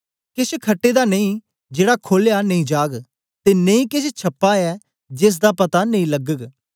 केछ खटा दा नेई जेड़ा खोलया नेई जाग ते नेई केछ छपा ऐ जेसदा पता नेई लगग